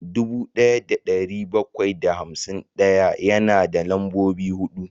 dubu daya da dari bakwai da hamsin daya yana da lambobi hudu